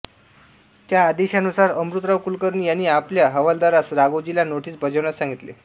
त्या आदेशानुसार अमृतराव कुलकर्णी यांनी आपल्या हवालदारास राघोजीला नोटीस बजावण्यास सांगितले